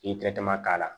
I tɛ tɛmɛ k'a la